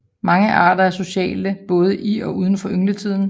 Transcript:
Mange arter er sociale både i og udenfor yngletiden